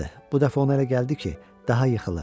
Bu dəfə ona elə gəldi ki, daha yıxılır.